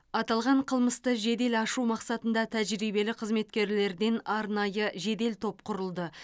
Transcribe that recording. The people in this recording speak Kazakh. аталған қылмысты жедел ашу мақсатында тәжірибелі қызметкерлерден арнайы жедел топ құрылды